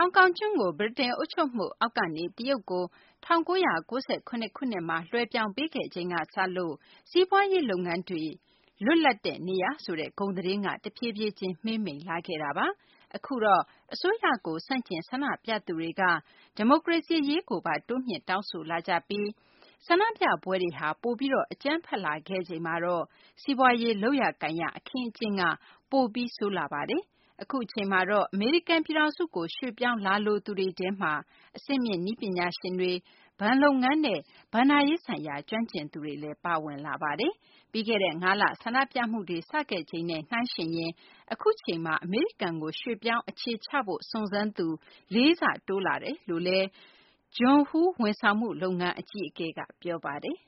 ာင်ကောင်ကျွန်းကို ဗြိတိန်အုပ်ချုပ်မှုအောက်ကနေ တရုတ်ကို ၁၉၉၇ ခုနှစ်မှာ လွှဲပြောင်းပေးခဲ့ချိန်ကစလို့ စီးပွားရေးလုပ်ငန်းတွေ လွတ်လပ်တဲ့နေရာဆိုတဲ့ ဂုဏ်သတင်းက တဖြည်းဖြည်းချင်း မှေးမှိန်လာခဲ့တာပါ။ အခုအခါမှာတော့ အစိုးရကို ဆန့်ကျင် ဆန္ဒပြသူတွေက ဒီမိုကရေစီ အရေးကိုပါ တိုးမြှင့် တောင်းဆိုလာကြပြီး ဆန္ဒပြပွဲတွေဟာ ပိုပြီး အကြမ်းဖက်လာခဲ့ချိန်မှာတော့ စီးပွားရေး လုပ်ရကိုင်ရ အခင်းအကျင်းက ပိုပြီး ဆိုးလာပါတယ်။ အခုအချိန်မှာတော့ အမေရိကန်ပြည်ထောင်စုကို ရွှေ့ပြောင်းလာလိုသူတွေထဲမှာ အဆင့်မြင့်နည်းပညာရှင်တွေ၊ ဘဏ်လုပ်ငန်းနဲ့ ဘဏ္ဍာရေးဆိုင်ရာ ကျွမ်းကျင်သူတွေလည်း ပါဝင်လာပါတယ်။ ပြီးခဲ့တဲ့ ၅ လ ဆန္ဒပြမှုတွေ စခဲ့ချိန်နဲ့ နှိုင်းယှဉ်ရင် အခုအချိန်မှာ အမေရိကန်ကို ရွှေ့ပြောင်းအခြေချရေး စုံစမ်းသူက ၄ ဆ တိုးလာတယ်လို့ John Hu ဝန်ဆောင်မှု လုပ်ငန်း အကြီးအကဲ John Hu က ပြောပါတယ်။